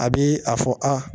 A bi a fɔ aa